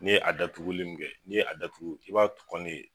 N'i ye a datuguli min kɛ n'i ye a datugu i b'a tukun de.